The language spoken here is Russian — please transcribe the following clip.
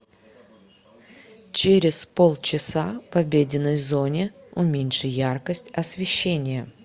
через полчаса в обеденной зоне уменьши яркость освещения